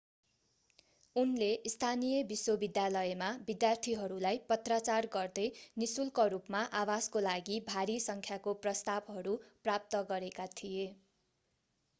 उनले स्थानीय विश्वविद्यालयमा विद्यार्थीहरूलाई पत्राचार गर्दै निःशुल्क रूपमा आवासको लागि भारी सङ्ख्याको प्रस्तावहरू प्राप्त गरेका थिए